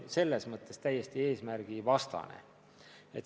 See on täiesti eesmärgivastane.